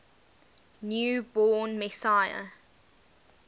new born messiah